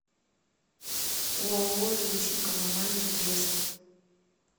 ооо жилищно коммунальный трест